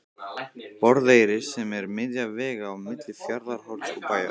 Borðeyri sem er miðja vegu á milli Fjarðarhorns og Bæjar.